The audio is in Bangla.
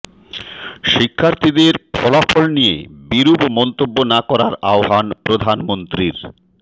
শিক্ষার্থীদের ফলাফল নিয়ে বিরূপ মন্তব্য না করার আহ্বান প্রধানমন্ত্রীর